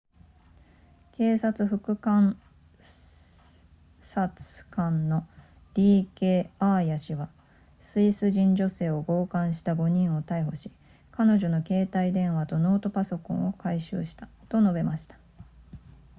警察副監察官の d k アーヤ氏はスイス人女性を強姦した5人を逮捕し彼女の携帯電話とノートパソコンを回収したと述べました